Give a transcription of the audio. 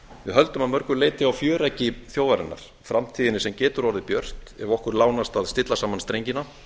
við höldum að mörgu leyti á fjöreggi þjóðarinnar framtíðinni sem betur orðið björt ef okkur lánast að stilla saman strengina